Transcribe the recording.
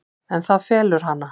En það felur hana.